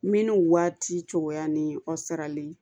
Minnu waati cogoya ni kɔ sarali